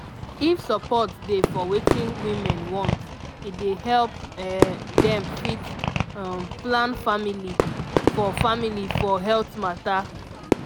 if support dey for wetin women want e dey help um dem fit um plan family for family for health mata